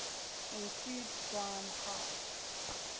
include brine high